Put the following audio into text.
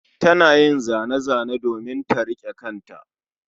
Tana yin zane-zane domin ta riƙe ƙanta